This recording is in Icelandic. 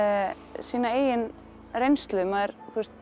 sína eigin reynslu maður